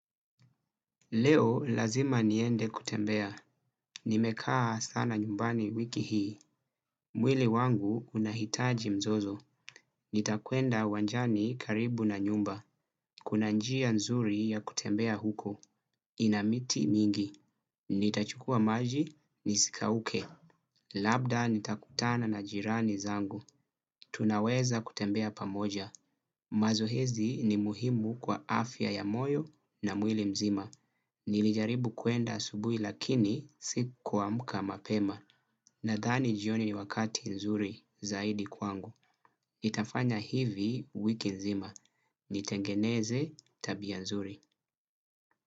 Leo lazima niende kutembea, nimekaa sana nyumbani wiki hii. Mwili wangu unahitaji mzozo, nitakwenda uwanjani karibu na nyumba. Kuna njia nzuri ya kutembea huko, ina miti mingi, nitachukua maji, nisikauke. Labda nitakutana na jirani zangu, tunaweza kutembea pamoja. Mazohezi ni muhimu kwa afya ya moyo na mwili mzima. Nilijaribu kuenda asubui lakini sikuamka mapema. Nadhani jioni ni wakati nzuri zaidi kwangu. Itafanya hivi wiki nzima. Nitengeneze tabia nzuri.